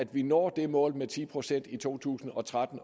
vi når det mål med ti procent i to tusind og tretten